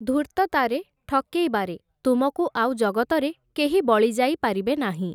ଧୂର୍ତ୍ତତାରେ, ଠକେଇବାରେ ତୁମକୁ ଆଉ ଜଗତରେ, କେହି ବଳିଯାଇ ପାରିବେ ନାହିଁ ।